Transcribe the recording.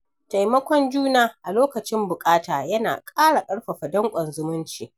Taimakon juna a lokacin bukata yana ƙara karfafa danƙon zumunci